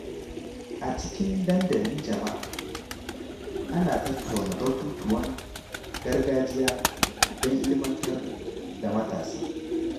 A cikin dandalin jama’a, ana tattauna batutuwan gargajiya don ilimantar da matasa.